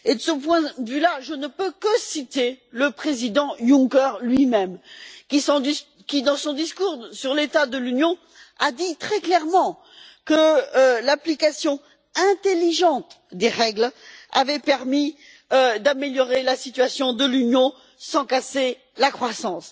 De ce point de vue, je ne peux que citer le président Juncker lui même qui, dans son discours sur l'état de l'Union, a dit très clairement que l'application intelligente des règles avait permis d'améliorer la situation de l'Union sans casser la croissance.